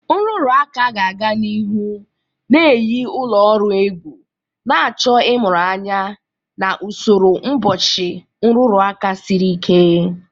Nrụrụ aka ga-aga n'ihu na-eyi ụlọ ọrụ egwu, na-achọ ịmụrụ anya na usoro mgbochi nrụrụ aka siri ike.